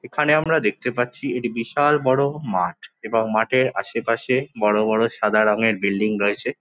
এখানে আমরা দেখতে পাচ্ছি একটি বিশাল বড় মাঠ এবং মাঠের আশেপাশে বড় বড় সাদা রঙের বিল্ডিং রয়েছে।